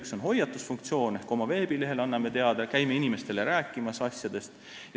Üks on hoiatusfunktsioon – anname oma veebilehel asjadest teada ja käime inimestele neist rääkimas.